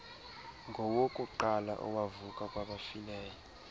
ngowokuqala owavuka kwabafileyo